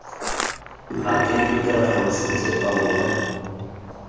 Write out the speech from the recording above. latele ditiragalo sentle ba bone